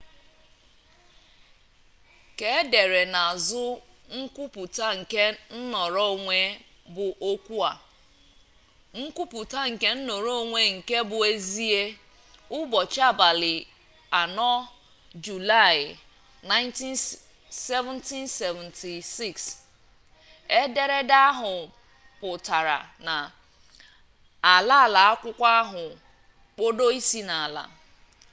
ka-edere na azu nkwuputa nke nnoro-onwe bu okwua nkwuputa nke nnoro-onwe nke bu ezie ubochi abali 4 juli 1776” .ederede ahu putara na ala-ala akwukwo ahu kpodo isi na-ala